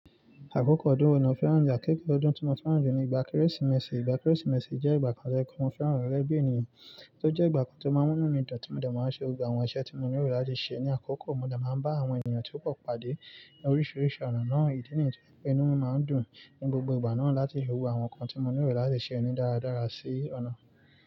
Àkókò ọdún ọ̀nà Férànjà, gẹ́gẹ́ ọdún tí mo Férànjà ni ìgbà Kérésìmesì. Ìgbà Kérésìmesì jẹ́ ìgbà kan tí ẹkùn Férànjà rẹ́ bí ènìyàn, tó jẹ́ ìgbà kan tó máa ń mú nínú nídàn tí mo dà máa ń ṣe, gba àwọn iṣẹ́ tí mo nílò láti ṣe. Ni àkókò, mo dà máa ń bá àwọn ènìyàn tí ó pọ̀ pàdé ní oríṣiríṣi ọ̀nà náà, ìdí nìkan pé inú máa ń dùn ní gbogbo ìgbà náà láti hu àwọn nǹkan tí mo nílò láti ṣe oni dáradára sí ọ̀nà.